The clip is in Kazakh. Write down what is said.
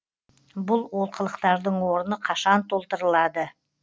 бұл олқылықтардың орны қашан толтырылады